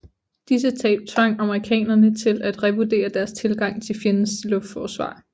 Disse tab tvang amerikanerne til at revurdere deres tilgang til fjendens luftforsvar